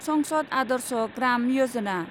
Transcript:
संसद आदर्श ग्राम यजना